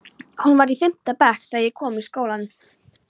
Hún var í fimmta bekk þegar ég kom í skólann.